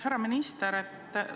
Härra minister!